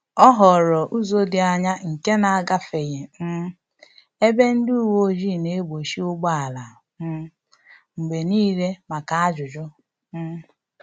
Ọ họọrọ ụzọ dị anya nke na-agafeghị um ebe ndị uweojii na-egbochi ụgbọala um mgbe niile maka ajụjụ um